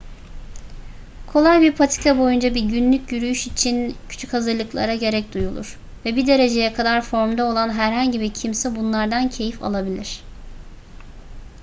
kolay bir patika boyunca bir günlük yürüyüş için küçük hazırlıklara gerek duyulur ve bir dereceye kadar formda olan herhangi bir kimse bunlardan keyif alabilir